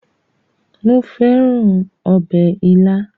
Mo fẹ́ràn ọbẹ̀ ilá